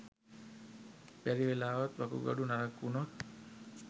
බැරිවෙලාවත් වකුගඩු නරක් වුණොත්